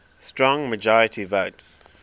strong majority votes